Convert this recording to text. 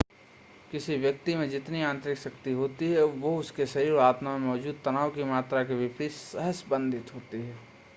किसी व्यक्ति में जितनी आंतरिक शांति होती है वह उसके शरीर और आत्मा में मौजूद तनाव की मात्रा के विपरीत सहसंबंधित होती है